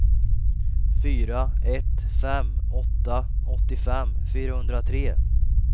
fyra ett fem åtta åttiofem fyrahundratre